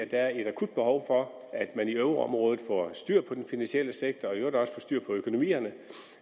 der er et akut behov for at man i euroområdet får styr på den finansielle sektor og i øvrigt også får styr på økonomierne